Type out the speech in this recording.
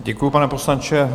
Děkuju, pane poslanče.